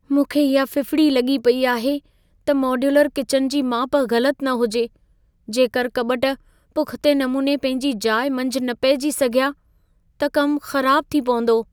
मूंखे इहा फिफिड़ी लॻी पई आहे त मॉड्यूलर किचन जी माप ग़लत न हुजे। जेकर कॿट पुख़्ते नमूने पंहिंजी जाइ मंझि न पहिजी सघिया त कमु ख़राबु थी पवंदो।